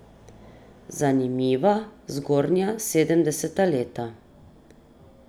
Zanimiva zgodnja sedemdeseta leta.